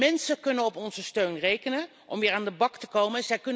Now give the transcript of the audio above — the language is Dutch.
Mensen kunnen op onze steun rekenen om weer aan de bak te komen.